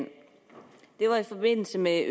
med at